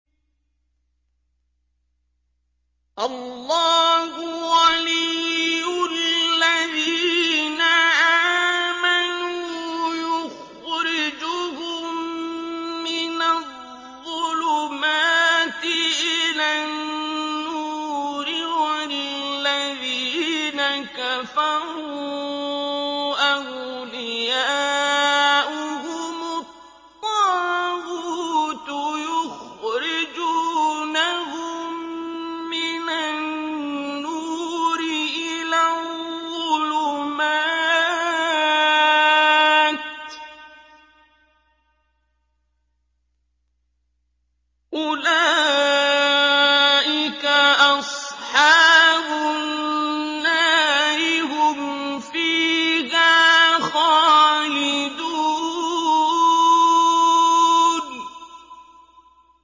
اللَّهُ وَلِيُّ الَّذِينَ آمَنُوا يُخْرِجُهُم مِّنَ الظُّلُمَاتِ إِلَى النُّورِ ۖ وَالَّذِينَ كَفَرُوا أَوْلِيَاؤُهُمُ الطَّاغُوتُ يُخْرِجُونَهُم مِّنَ النُّورِ إِلَى الظُّلُمَاتِ ۗ أُولَٰئِكَ أَصْحَابُ النَّارِ ۖ هُمْ فِيهَا خَالِدُونَ